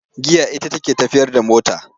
Giya ita ce take tafiyar da mota,